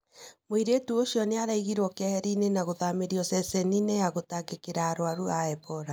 Mũirĩtu ũcio nĩaraigirwo kehera-inĩ na gũthamĩrio ceceni-inĩ ya gũtangĩkĩra arwaru a Ebola.